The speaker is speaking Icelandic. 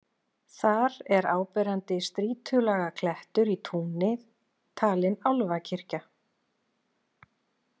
Þar er áberandi strýtulaga klettur í túni, talinn álfakirkja.